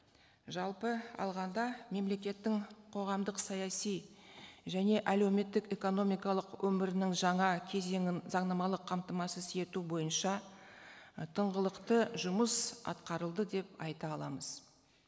жалпы алғанда мемлекеттің қоғамдық саяси және әлеуметтік экономикалық өмірінің жаңа кезеңін заңнамалық қамтамасыз ету бойынша і тыңғылықты жұмыс атқарылды деп айта аламыз